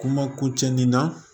Kuma ko cɛn nin na